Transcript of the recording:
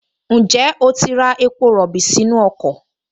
Ǹjẹ́ o ti ra epo rọ̀bì sínú ọkọ̀?